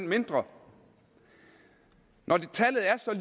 mindre når